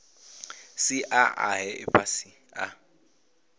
sia a he ifhasi a